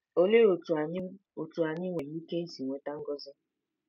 Olee otú anyị otú anyị nwere ike isi nweta ngọzi?